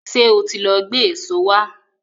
Ṣé ó ti lọ gbé èso wá?